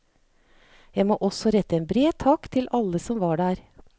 Jeg må også rette en bred takk til alle som var der.